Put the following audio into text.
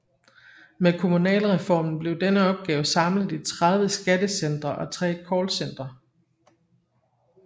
Med kommunalreformen blev denne opgave samlet i 30 skattecentre og tre callcentre